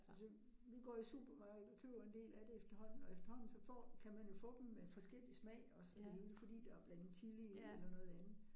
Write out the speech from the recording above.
Altså vi går i supermarkedet, og køber en del af det efterhånden, og efterhånden så får kan man jo få dem med forskellig smag også det hele fordi der er blandet chili i eller noget andet